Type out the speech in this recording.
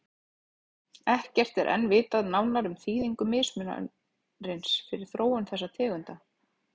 Ekkert er enn vitað nánar um þýðingu mismunarins fyrir þróun þessara tegunda.